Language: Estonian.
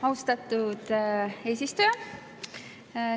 Austatud eesistuja!